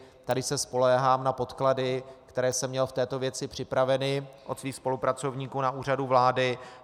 Tady se spoléhám na podklady, které jsem měl v této věci připraveny od svých spolupracovníků na Úřadu vlády.